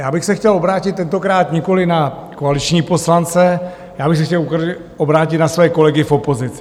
Já bych se chtěl obrátit tentokrát nikoliv na koaliční poslance, já bych se chtěl obrátit na své kolegy v opozici.